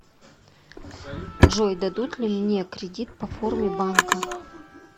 джой дадут ли мне кредит по форме банка